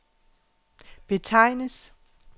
betegnes